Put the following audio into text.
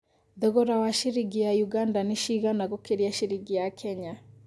thogora wa ciringi ya Uganda nĩ cigana gũkĩria ciringi ya Kenya